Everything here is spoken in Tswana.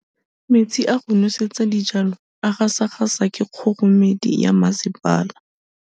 Metsi a go nosetsa dijalo a gasa gasa ke kgogomedi ya masepala.